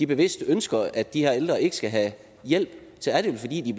bevidst ønsker at de her ældre ikke skal have hjælp så er det vel fordi de